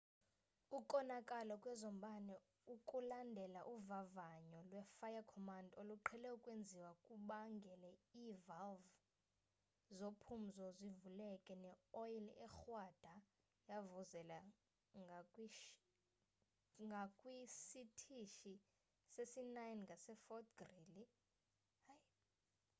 ukonakala kwezombane okulandela uvavanyo lwe-fire-command oluqhele ukwenziwa kubangele ii-valve zophumzo zivuleke ne oyile ekrwada yavuzela ngakwisitishi sesi-9 ngase-fort greely